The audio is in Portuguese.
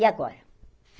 E agora?